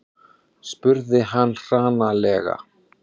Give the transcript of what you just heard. spurði hann hranalega.